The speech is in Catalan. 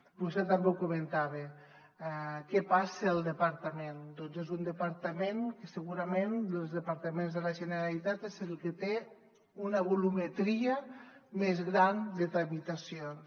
vostè també ho comentava què passa al departament doncs és un departament que segurament dels departaments de la generalitat és el que té una volumetria més gran de tramitacions